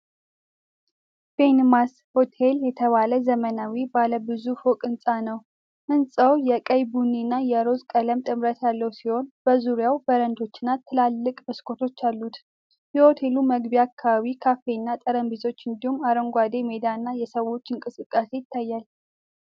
"ቤንማስ ሆቴል" የተባለ ዘመናዊ ባለ ብዙ ፎቅ ሕንፃ ነው። ሕንፃው የቀይ ቡኒ እና የሮዝ ቀለም ጥምረት ያለው ሲሆን በዙሪያው በረንዳዎችና ትላልቅ መስኮቶች አሉት። የሆቴሉ መግቢያ አካባቢ ካፌና ጠረጴዛዎች እንዲሁም አረንጓዴ ሜዳ እና የሰዎች እንቅስቃሴ ይታያል።